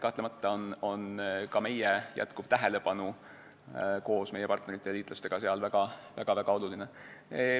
Kahtlemata on ka meie tähelepanu koos meie partnerite ja liitlaste tähelepanuga seal väga-väga oluline.